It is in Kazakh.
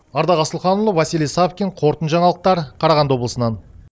ардақ асылханұлы василий савкин қорытынды жаңалықтар қарағанды облысынан